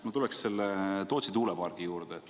Ma tuleksin selle Tootsi tuulepargi juurde.